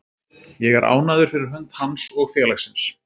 Ég er ánægður fyrir hönd hans og félagsins.